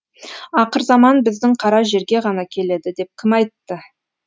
ақырзаман біздің қара жерге ғана келеді деп кім айтты